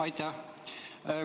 Aitäh!